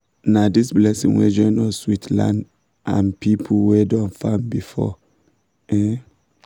na this blessing wey join us with land and and people wey don farm before. um